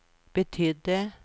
betydde